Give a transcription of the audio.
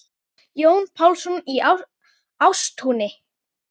Páll Jónsson í Ástúni